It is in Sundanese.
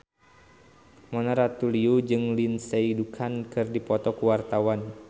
Mona Ratuliu jeung Lindsay Ducan keur dipoto ku wartawan